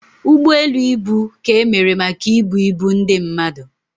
Ụgbọ elu ibu ka emere maka ibu ibu ndị mmadụ